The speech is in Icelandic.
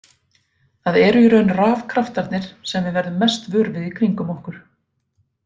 Það eru í raun rafkraftarnir sem við verðum mest vör við í kringum okkur.